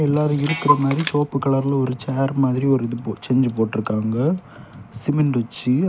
எல்லாரு இருக்குற மாதிரி சோவப்பு கலர்ல ஒரு சேர் மாதிரி ஒரு இது போட் செஞ்சு போட்டிருக்காங்க சிமெண்ட் வச்சு.